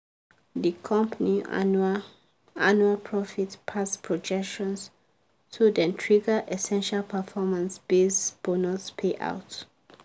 di company annual annual profit pass projections so dem trigger essential performance-based bonus payout.